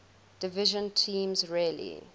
division teams rarely